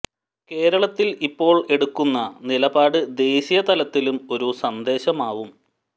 കേരളത്തിൽ ഇപ്പോൾ എടുക്കുന്ന നിലപാട് ദേശീയ തലത്തിലും ഒരു സന്ദേശമാവും